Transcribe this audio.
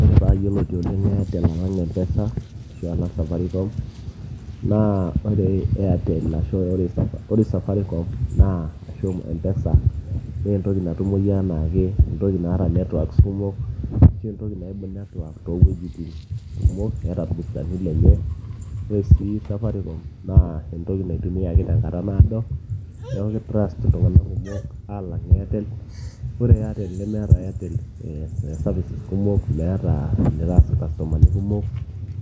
ore paayioloti oleng airtel alang mpesa ashu alang safaricom naa ore airtel ashu ore safaricom naa ashu mpesa naa entoki natumoyu enaake entoki naata networks kumok ashu entoki naibung network toowuejitin kumok eeta irbustani lenye ore sii safaricom naa entoki naitumiaki tenkata naado neeku ki trust iltung'anak kumok alang airtel ore airtel nemeeta eh airtel services kumok meeta enitaas irkastomani kumok